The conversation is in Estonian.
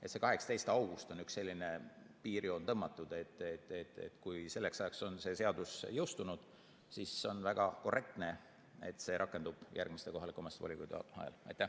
Nii et 18. august on üks selline piirjoon, mis on tõmmatud, st kui selleks ajaks on seadus jõustunud, siis on väga korrektne, et see rakendub järgmistel kohalike volikogude valimistel.